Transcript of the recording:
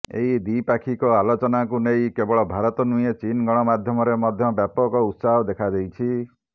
ଏହି ଦ୍ୱିପାକ୍ଷିକ ଆଲୋଚନାକୁ ନେଇ କେବଳ ଭାରତ ନୁହେଁ ଚୀନ ଗଣମାଧ୍ୟମରେ ମଧ୍ୟ ବ୍ୟାପକ ଉତ୍ସାହ ଦେଖାଦେଇଛି